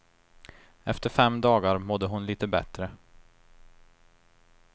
Efter fem dagar mådde hon litet bättre.